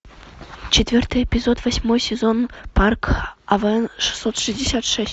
четвертый эпизод восьмой сезон парк авен шестьсот шестьдесят шесть